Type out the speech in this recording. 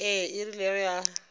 ee e rile ge a